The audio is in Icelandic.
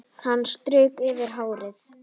Hann strauk yfir hárið.